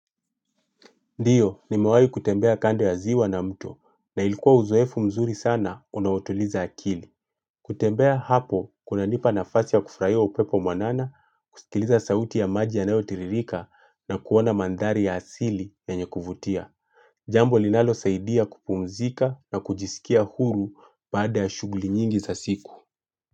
Ndiyo, nimewahi kutembea kando ya ziwa na mto na ilikuwa uzoefu mzuri sana unaotuliza akili. Kutembea hapo, kunanipa nafasi ya kufurahia upepo mwanana, kusikiliza sauti ya maji ya nayo tiririka na kuona mandhari ya asili yenye kuvutia. Jambo linalo saidia kupumzika na kujisikia huru baada ya shughuli nyingi za siku.